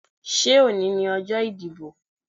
Ṣé òní ni ọjọ́ ìdìbò?